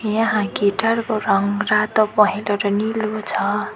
यहाँ गिटार को रंग रातो पहेलो र नीलो छ।